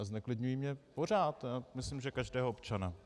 A zneklidňují mě pořád a myslím, že každého občana.